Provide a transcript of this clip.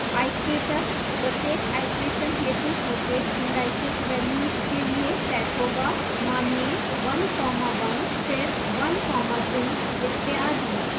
iterator प्रत्येक iteration हेतु प्रत्येक indices values के लिए set होगा मानिए 11 फिर 12 इत्यादि